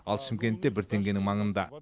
ал шымкентте бір теңгенің маңында